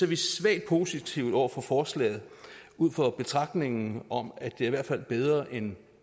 vi svagt positive over for forslaget ud fra betragtningen om at det i hvert fald er bedre end